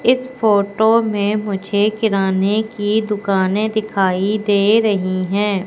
इस फोटो में मुझे किराने की दुकाने दिखाई दे रही हैं।